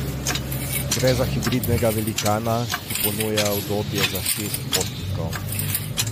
Gre za hibridnega velikana, ki ponuja udobje za šest potnikov.